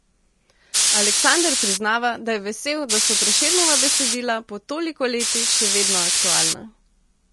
Aleksander priznava, da je vesel, da so Prešernova besedila po toliko letih še vedno aktualna.